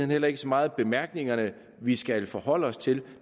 heller ikke så meget bemærkningerne vi skal forholde os til